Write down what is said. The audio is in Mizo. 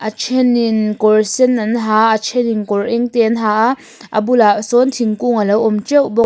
a then in kawr sen an ha a a then in kawr eng te an ha a a bulah sawn thingkung a lo awm teuh bawk.